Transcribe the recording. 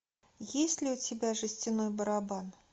есть ли у тебя жестяной барабан